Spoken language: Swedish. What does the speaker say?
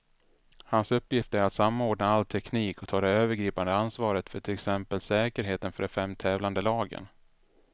Hans uppgift är att samordna all teknik och ta det övergripande ansvaret för till exempel säkerheten för de fem tävlande lagen.